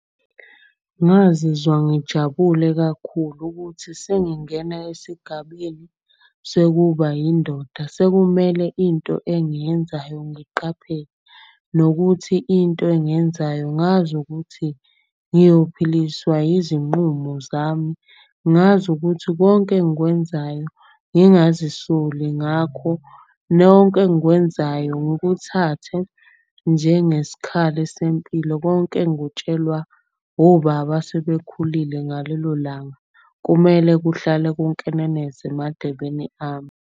Ngazizwa ngijabule kakhulu ukuthi sengingena esigabeni sekuba indoda, sekumele into engiyenzayo ngiqaphele. Nokuthi into engiyenzayo ngazi ukuthi ngiyophiliswa izinqumo zami. Ngazi ukuthi konke engikwenzayo ngingazisoli ngakho. Nonke engikwenzayo ngikuthathe njengeskhali sempilo. Konke engikutshelwa obaba asebekhulile ngalelo langa. Kumele kuhlale kunkeneneze emadebeni ami.